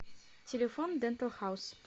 телефон дентал хаус